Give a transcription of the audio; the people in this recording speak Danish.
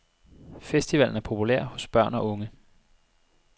Festivalen er populær hos børn og unge.